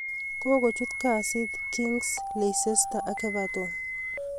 Kokochut kasit Giggs ing' Leicester ak Everton.